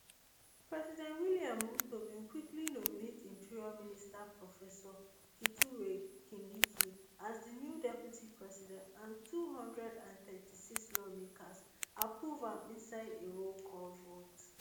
president william ruto bin quickly nominate interior minister professor kithure kindiki as di new deputy president and two hundred and thirty-six lawmakers approved am inside a rollcall vote